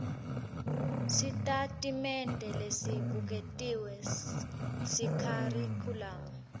sitatimende lesibuketiwe sekharikhulamu